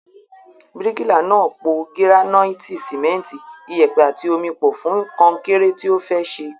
Bíríkìlà náà po gíránáìtì, sìmẹ́ntì, iyẹ̀pẹ̀ àti omi pọ̀ fún kọnkéré tí ó fẹ́ ṣe.